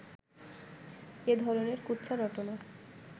এ ধরনের কুৎসা রটনা